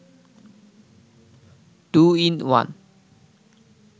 two-in-one